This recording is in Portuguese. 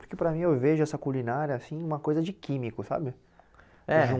Porque para mim eu vejo essa culinária assim uma coisa de químico, sabe? É